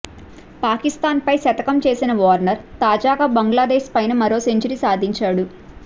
పాకిస్థాన్పై శతకం చేసిన వార్నర్ తాజాగా బంగ్లాదేశ్పైనా మరో సెంచరీ సాధించాడు